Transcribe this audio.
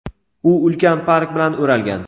u ulkan park bilan o‘ralgan.